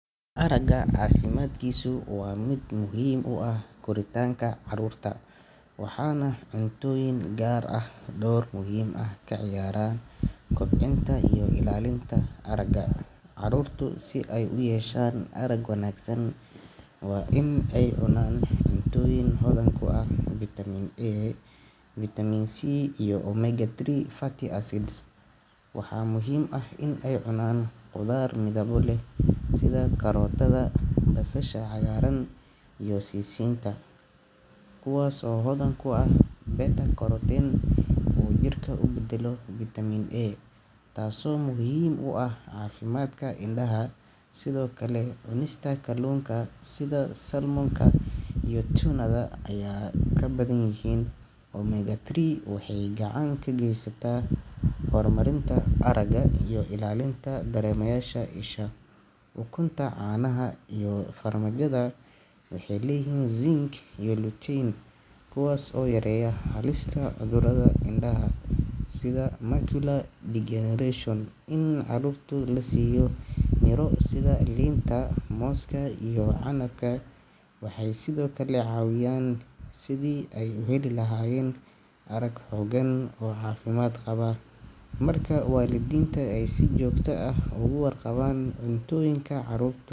Aragga caafimaadkiisu waa mid muhiim u ah koritaanka caruurta, waxaana cuntooyin gaar ah ay door muhiim ah ka ciyaaraan kobcinta iyo ilaalinta aragga. Caruurtu si ay u yeeshaan arag wanaagsan waa in ay cunaan cuntooyin hodan ku ah Vitamin A, Vitamin C, iyo Omega-3 fatty acids. Waxaa muhiim ah in ay cunaan khudaar midabo leh sida karootada, basasha cagaaran, iyo sisinta, kuwaas oo hodan ku ah beta-carotene oo jirka u beddelo Vitamin A, taasoo muhiim u ah caafimaadka indhaha. Sidoo kale, cunista kalluunka sida salmon-ka iyo tuna-da oo ay ku badan yihiin Omega-3 waxay gacan ka geysataa horumarinta aragga iyo ilaalinta dareemayaasha isha. Ukunta, caanaha, iyo farmaajada waxay leeyihiin Zinc iyo Lutein, kuwaasoo yareeya halista cudurrada indhaha sida macular degeneration. In caruurta la siiyo miro sida liinta, mooska, iyo canabka waxay sidoo kale caawinayaan sidii ay u heli lahaayeen arag xooggan oo caafimaad qaba. Marka waalidiinta ay si joogto ah uga warqabaan cuntooyinka caruurtu.